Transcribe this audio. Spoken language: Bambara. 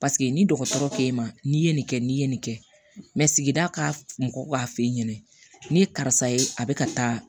Paseke ni dɔgɔtɔrɔ k'e ma n'i ye nin kɛ n'i ye nin kɛ sigida k'a mɔgɔ k'a f'e ɲɛna ne ye karisa ye a bɛ ka taa